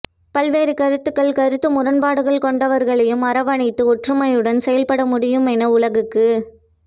பல்வேறு கருத்துக்கள் கருத்து முரண்பாடுகள் கொண்டவர்க ளையும் அரவணைத்து ஒற்றுமையுடன் செயல்படமுடியும் என உலக்குக்கு